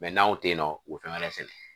n'anw te yen nɔ o fɛn wɛrɛ sɛnɛ